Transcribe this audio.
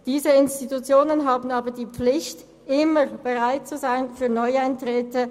Diese Institutionen haben aber die Pflicht, immer für neue Eintritte bereit zu sein.